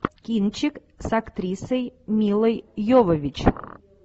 кинчик с актрисой милой йовович